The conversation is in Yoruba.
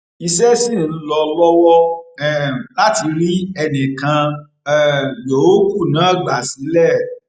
iṣẹ sì ń lọ lọwọ um láti rí ẹnì kan um yòókù náà gbà sílé